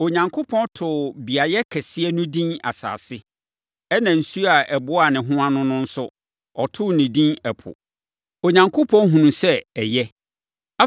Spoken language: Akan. Onyankopɔn too beaeɛ kesee no edin asase. Ɛnna nsuo a ɛboaa ne ho ano no nso, ɔtoo no edin ɛpo. Onyankopɔn hunuu sɛ ɛyɛ.